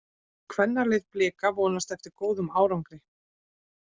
Kvennalið Blika vonast eftir góðum árangri